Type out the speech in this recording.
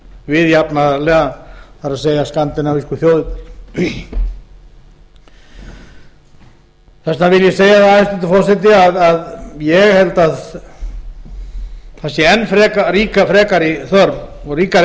við jafnaðarlega það er skandinavísku þjóðirnar þess vegna vil ég segja hæstvirtur forseti að ég held að það sé enn frekari þörf og ríkari